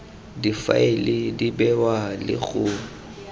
difaele di bewa le go